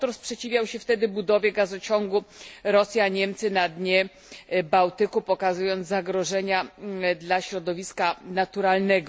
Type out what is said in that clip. Autor sprzeciwiał się wtedy budowie gazociągu Rosja Niemcy na dnie Bałtyku, pokazując zagrożenia dla środowiska naturalnego.